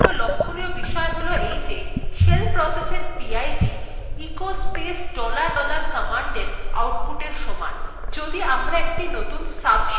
একটি গুরুত্বপূর্ণ লক্ষ্যনীয় বিষয় হল shell processএর pid echo space dollar dollar commandএর আউটপুটএর সমান